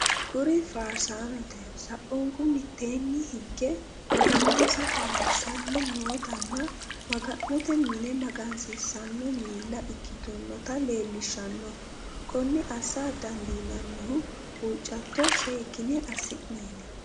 Kuri faarsaanote, saunku mitteenni higge maganonsa ayiirrissanni nootanna maga'note mine magansiissanno miilla ikkitonota leellishshanno. Konne assa dandiinannihu huuccatto seekkine assineeti.